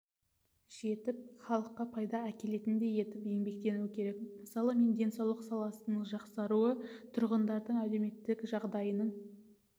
жетіп халыққа пайда әкелетіндей етіп еңбектену керек мысалы мен денсаулық саласының жақсаруы тұрғындардың әлеуметтік жағдайының